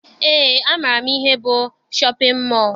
Eé, amaara m ihe bụ shọpịn mọọ.